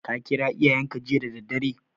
Ka kira iyayenka jiya da daddare?